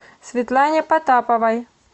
светлане потаповой